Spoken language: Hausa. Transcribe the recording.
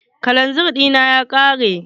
Kalanzir ɗina ya ƙare.